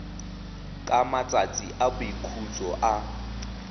ka matsatsi a boikhutso a